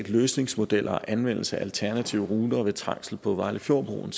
løsningsmodeller og anvendelse af alternative ruter ved trængsel på vejlefjordbroen